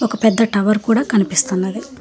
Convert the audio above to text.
ఒక పెద్ద టవర్ కూడా కనిపిసస్తున్నది.